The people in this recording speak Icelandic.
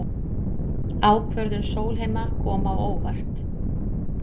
Ákvörðun Sólheima kom á óvart